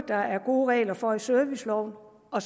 der er gode regler for både i serviceloven og